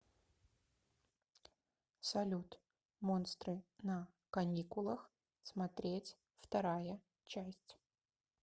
салют монстры на каникулах смотреть вторая часть